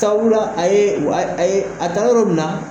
Sabula a ye wa a ye a taara yɔrɔ munna.